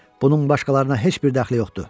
Bunun başqalarına heç bir dəxli yoxdur.